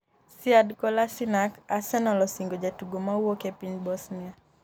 Sead Kolasinac: Arsenal osingo jatugo mawuok e piny Bosnia